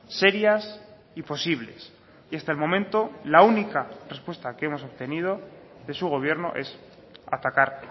serias y posibles y hasta el momento la única respuesta que hemos obtenido de su gobierno es atacar